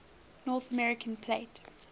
north american plate